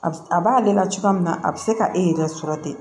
A b'ale la cogoya min na a bi se ka e yɛrɛ sɔrɔ ten